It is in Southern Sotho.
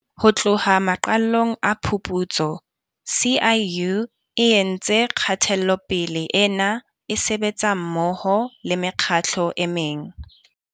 Ho tloha maqalong a phuputso, SIU e entse kgatelopele ena e sebetsa mmoho le mekgatlo e meng.